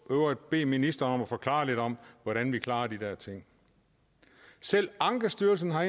øvrigt bede ministeren om at forklare lidt om hvordan vi klarer de der ting selv ankestyrelsen har